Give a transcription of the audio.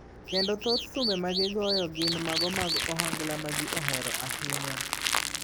Kendo thoth thumbe ma gigoyo gin mago mag Ohangla ma ji ohero ahinya.